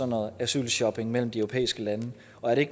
noget asylshopping mellem de europæiske lande og er det